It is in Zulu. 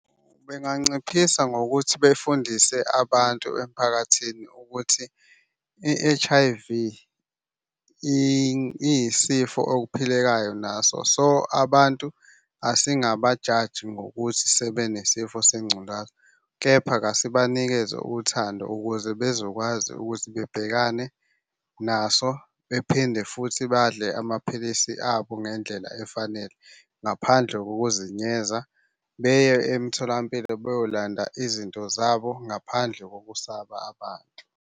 Benganciphisa ngokuthi befundise abantu emphakathini ukuthi i-H_I_V Iyisifo okuphilekayo naso. So, abantu asingabajaji ngokuthi sebenesifo sengculazi, kepha kasibanikeze uthando ukuze bezokwazi ukuthi bebhekane naso. Bephinde futhi badle amaphilisi abo ngendlela efanele ngaphandle kokuzinyeza. Beye emtholampilo beyolanda izinto zabo ngaphandle kokusaba abantu.